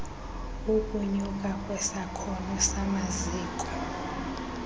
ukunyuka kwesakhono samaziko